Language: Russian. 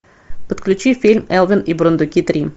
подключи фильм элвин и бурундуки три